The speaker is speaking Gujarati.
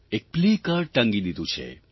એક પ્લેકાર્ડ ટાંગી દીધું છે